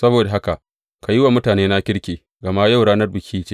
Saboda haka ka yi wa mutanena kirki, gama yau ranar biki ce.